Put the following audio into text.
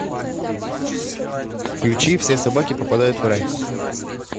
включи все собаки попадают в рай